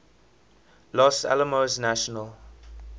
los alamos national